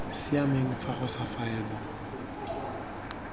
siameng fa go sa faelwa